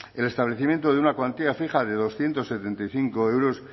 el establecimiento de una cuantía fija de doscientos setenta y cinco euros